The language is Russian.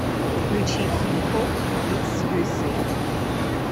включи хип хоп микс юэсэй